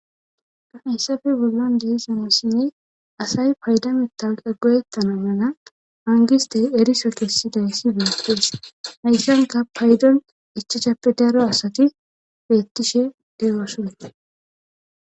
kafayssafe bollon deizamossinne asay payda mitawqe goyetana mena hangistey eriso kessidayssi biittees hayssanka paydon ichacappe daro asati beettishe de7ooson